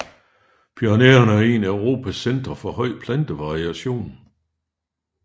Pyrenæerne er et af Europas centre for høj plantevariation